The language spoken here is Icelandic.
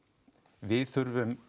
við þurfum og